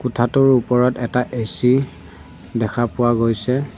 কোঠাটোৰ ওপৰত এটা এ_চি দেখা পোৱা গৈছে।